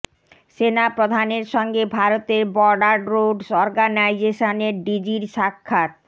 সেনা প্রধানের সঙ্গে ভারতের বর্ডার রোডস অর্গানাইজেশনের ডিজির সাক্ষাৎ